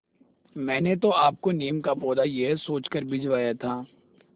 मैंने तो आपको नीम का पौधा यह सोचकर भिजवाया था